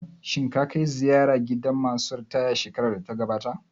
Shin ka kai ziyara gidan ma su ritaya shekarar da ta gabata?